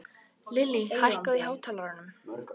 Lily, hækkaðu í hátalaranum.